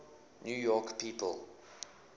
new york people